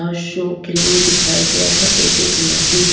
show के लिए दिखाया गया है एक गुलाबी--